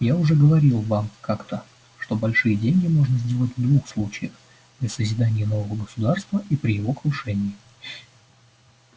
я уже говорил вам как-то что большие деньги можно сделать в двух случаях при созидании нового государства и при его крушении